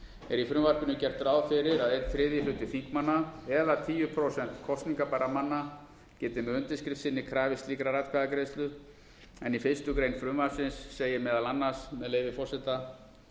í frumvarpinu gert ráð fyrir að einn þriðji hluti þingmanna eða tíu prósent kosningabærra manna geti með undirskrift sinni krafist slíkrar atkvæðagreiðslu en í fyrstu grein frumvarpsins segir meðal annars með leyfi forseta